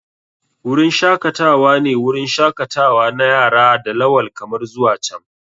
Wurin shakatawa ne wurin shakatawa na yara da lawal kamar zuwa can.